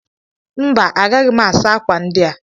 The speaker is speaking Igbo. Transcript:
mba, agaghị m asa akwa ndị a